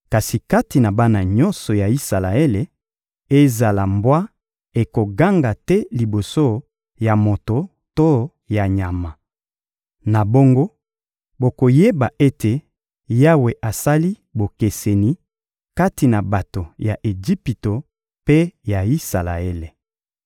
Kasi kati na bana nyonso ya Isalaele, ezala mbwa ekoganga te liboso ya moto to ya nyama.› Na bongo, bokoyeba ete Yawe asali bokeseni kati na bato ya Ejipito mpe ya Isalaele.